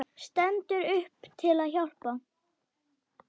Stendur upp til að hjálpa.